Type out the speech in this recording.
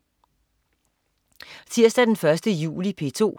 Tirsdag den 1. juli - P2: